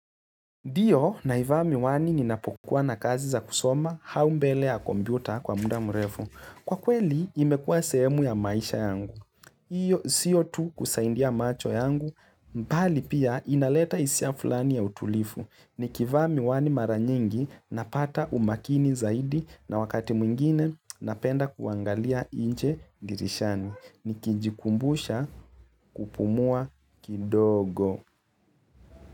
Ndiyo naivami wani ninapokuwa na kazi za kusoma hau mbeleya kompyuta kwa muda mrefu. Kwa kweli imekua sehemu ya maisha yangu. Iyo siyo tu kusaindia macho yangu mbali pia inaleta isia fulani ya utulifu. Nikivami wani mara nyingi napata umakini zaidi na wakati mwingine napenda kuangalia inje dirishani. Nikijikumbusha kupumua kidogo.